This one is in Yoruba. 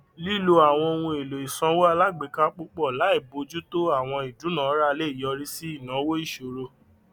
lílo àwọn ohun èlò ìsanwó alágbèéká púpọ láì bọjú tó àwọn owó ìdúnàrà lè yọrí sí ináwó ìṣòro